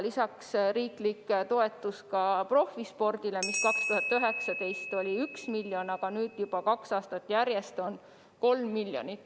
Lisaks on riiklik profispordi toetus, mis 2019. aastal oli 1 miljon eurot, aga nüüd juba kaks aastat järjest on olnud 3 miljonit eurot.